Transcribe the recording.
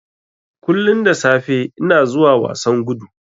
Kullun da safe ina zuwa wasan gudu.